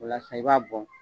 O la sisan i b'a bɔn